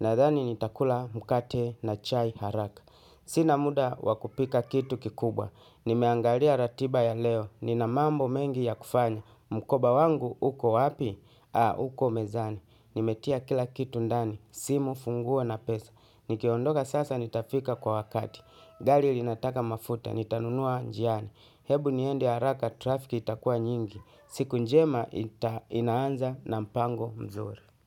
nadhani nitakula mkate na chai haraka. Sina muda wa kupika kitu kikubwa. Nimeangalia ratiba ya leo, nina mambo mengi ya kufanya. Mkoba wangu, uko wapi? Aa, uko mezani. Nimetia kila kitu ndani, simu funguo na pesa. Nikiondoka sasa nitafika kwa wakati. Gali linataka mafuta, nitanunua njiani. Hebu niende haraka trafiki itakua nyingi. Siku njema inaanza na mpango mzuri.